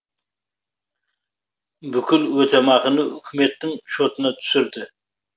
бүкіл өтемақыны үкіметтің шотына түсірді